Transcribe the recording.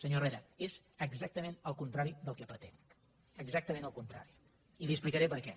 senyor herrera és exactament el contrari del que pretenc exactament el contrari i li explicaré per què